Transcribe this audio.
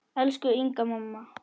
Elsku Inga amma.